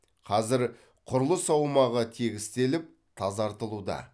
қазір құрылыс аумағы тегістеліп тазартылуда